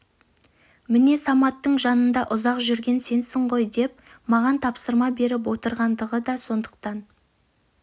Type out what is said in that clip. міне саматтың жанында ұзақ жүрген сенсің ғой деп маған тапсырма беріп отырғандығы да сондықтан